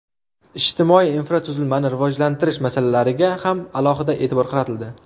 Ijtimoiy infratuzilmani rivojlantirish masalalariga ham alohida e’tibor qaratildi.